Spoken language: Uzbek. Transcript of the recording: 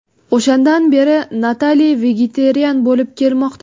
O‘shandan beri Natali vegetarian bo‘lib kelmoqda.